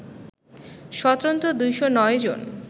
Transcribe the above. স্বতন্ত্র ২০৯ জন